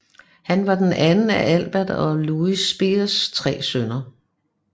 Han var den anden af Albert og Luise Speers tre sønner